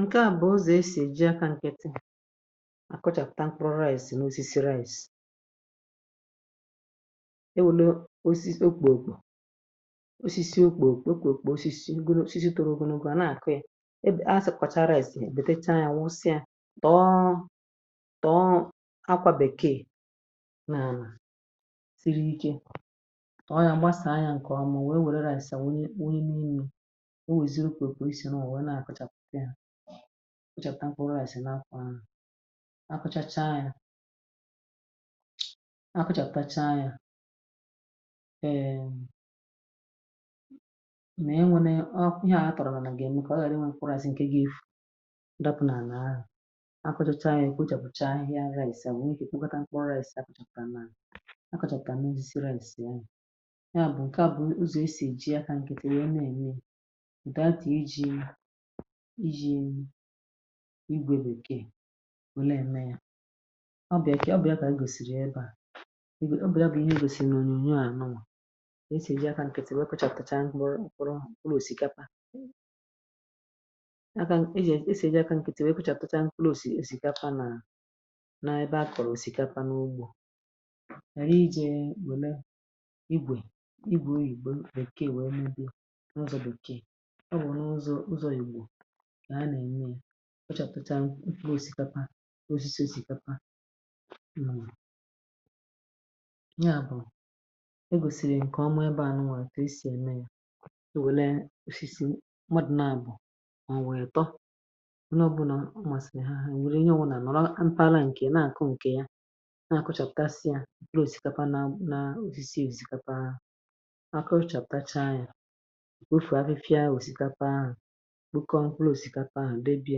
Ǹke à bụ̀ ọzọ̀ e sì eji akȧ nkịtị àkọchàpụ̀ta mkpụrụ̀ rice n’osisi rice. E wùlu osisi okpòòkpò, osisi okpòòkpò, osisi okpòòkpò, osisi… osisi tụrụ̀ ogunò, ga nà-àkụ ya. um Ebé a sị̀, kwàcha rice, èbètechaa ya, nwụsịa, tọọ̀ tọọ̀ akwà bèkeè ọ yà m gbasà anya. Ǹkè ọ̀ m wee wère rȧ-esa wụ ihe n’enu̇, o wèzịrị ukwù okpò. E si n’òwe na-àkụchàpụkị à, ọ chọ̀rọ̀ à, sì n’akwụ ahụ̀ akwụchacha yȧ, akwụchàpụchị ahụ̀ ya. um Èèè, mà enwène ọ ihe à ha tọ̀rọ̀, mà nà gà-èmrụ kà ọ ghàrịwa. Ǹkwụrȧzị ǹkè gà-efù, dọpụ̀ n’àlà, akwụchachȧ yȧ, èkwu o, jàpụ̀cha ihè agha àesa ya... Ǹke à bụ̀ n’usì esì ji akȧ ǹkètèrè eme ème ùta àtì, iji̇, iji̇ igwèlù èke ole eme à ọbịà. um Kị̀ ọbịà kà igòsìrì ebe à, obì ya bụ̀ ihe igòsì n’ònyo à nọwà. Esì ji akȧ nkètè nwekwàchàpụ̀chà mkpụrụ̀ nkụrụ̀ osìkapa. Esì esì nwekwàchàpụ̀chàpụ̀chà mkpụrụ̀ osì, esì igwè o yìgbe bụ̀ ǹkeè, wee ndị nọ̀zọ bụ̀ ǹkeè. Ọ bụ̀ n’ụzọ̇, ụzọ̇ yìgbò kà ha nà-ènye yȧ, ọ chàtọchaa gosìkapa osisi si̇kapa mm. Ya bụ̀ e gòsìrì ǹkè ọmọ̇ ebeà nụwà, kà esì ème yȧ. E wèle osisi mmadụ̀, naàbụ̀ mà ọ̀ nwèrè tọ ụnọ̀, bụ̀ nà amà sìrì ha, wèrè ihe ọ̀ um wụ̀, nà-ànọ̀rọ mpaghara ǹkè nà-àkụ, ǹkè ya akọrọchà, àpụ̀tachà ya n’ofu afịfịa.... Ya osìkapa ahụ̀ nwoke ọ mkwụlụ, osìkapa ahụ̀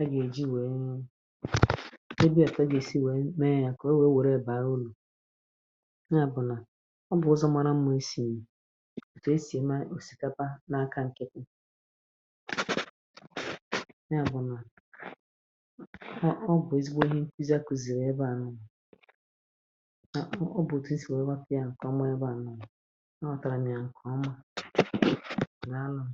a ga-eji wee mụ ebe a. A ga-esi mee ya kà o wee were baa ụlọ̀. Ya bụ̀ nà ọ bụ̀ ọzọ mara mma, isi etù esì eme osìkapa n’aka ǹkè ya. um Ya bụ̀ nà ọ bụ̀ ezigbo ihe, ụzọ a kuziere ya ebe a nụ, nà ọ nọtàrà m ya. Ǹkè ọma, ǹdàalụm.